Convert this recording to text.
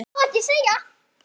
Má ekki segja.